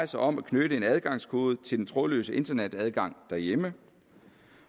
sig om at knytte en adgangskode til den trådløse internetadgang derhjemme